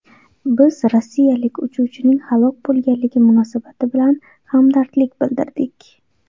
Biz rossiyalik uchuvchining halok bo‘lganligi munosabati bilan hamdardlik bildirdik.